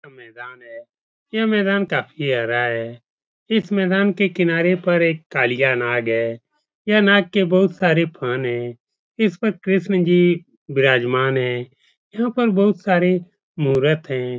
यह मैदान है यह मैदान काफ़ी हरा है। इस मैदान के किनारे पर एक कालिया नाग है। यह नाग के बहुत सारे फन हैं। इस पर कृष्ण जी विराजमान हैं। यहाँ पर बहुत सारे मूर्त हैं।